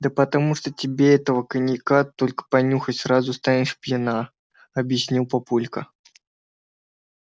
да потому что тебе этого коньяка только понюхать сразу станешь пьяна объяснил папулька